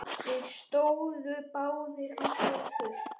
Þeir stóðu báðir á fætur.